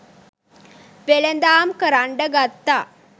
වෙළෙඳාම් කරන්ඩ ගත්තා.